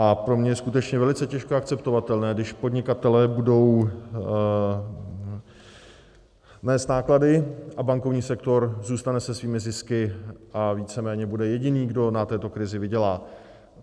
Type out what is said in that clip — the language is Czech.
A pro mě je skutečně velice těžko akceptovatelné, když podnikatelé budou nést náklady a bankovní sektor zůstane se svými zisky a víceméně bude jediný, kdo na této krizi vydělá.